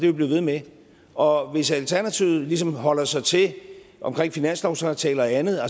vi blive ved med og hvis alternativet ligesom holder sig til omkring finanslovsaftaler og andet